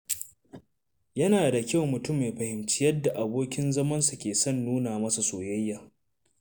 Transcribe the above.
Yana da kyau mutum ya fahimci yadda abokin zamansa ke son nuna masa soyayya.